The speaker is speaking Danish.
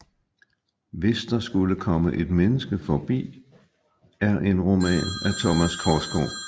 Hvis der skulle komme et menneske forbi er en roman af Thomas Korsgaard